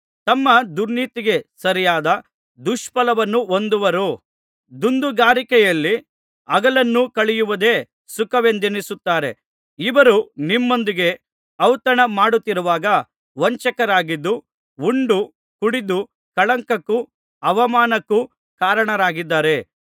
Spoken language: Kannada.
ತಮ್ಮ ದುರ್ನೀತಿಗೆ ಸರಿಯಾದ ದುಷ್ಫಲವನ್ನು ಹೊಂದುವರು ದುಂದುಗಾರಿಕೆಯಲ್ಲಿ ಹಗಲನ್ನು ಕಳೆಯುವುದೇ ಸುಖವೆಂದೆಣಿಸುತ್ತಾರೆ ಇವರು ನಿಮ್ಮೊಂದಿಗೆ ಔತಣ ಮಾಡುತ್ತಿರುವಾಗ ವಂಚಕರಾಗಿದ್ದು ಉಂಡು ಕುಡಿದು ಕಳಂಕಕ್ಕೂ ಅವಮಾನಕ್ಕೂ ಕಾರಣರಾಗಿದ್ದಾರೆ